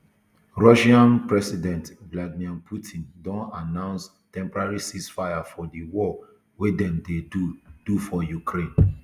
russia um president vladimir putin don announce temporary ceasefire for di war wey dem dey do do for ukraine